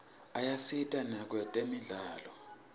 ayasita nakwetemidlalo